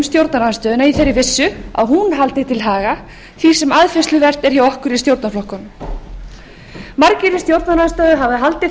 stjórnarandstöðuna í þeirri vissu að hún haldi til haga því sem aðfinnsluvert er hjá okkur í stjórnarflokkunum margir í stjórnarandstöðu hafa haldið